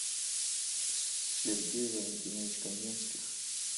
сергей валентинович каменский